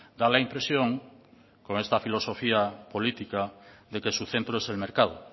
da la impresión con esta filosofía política de que su centro es el mercado